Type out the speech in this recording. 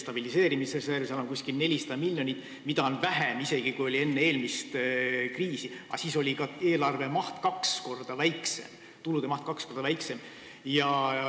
Stabiliseerimisreservis on umbes 400 miljonit, mida on isegi vähem, kui oli enne eelmist kriisi, aga siis oli ka eelarve maht, tulude maht kaks korda väiksem.